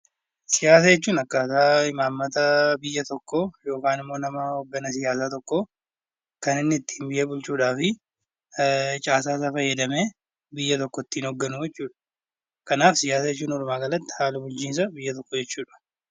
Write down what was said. Siyaasa jechuun akkaata imaammata biyya tokkoo yookaan immoo nama hoogganaa siyaasaa tokkoo kan inni ittiin biyya bulchuu fi caasaa isaa fayyadamee biyya tokko ittiin hoogganu jechuudha. Kanaaf siyaasa jechuun walumaa galatti haala bulchiinsa biyya tokkoo jechuudha.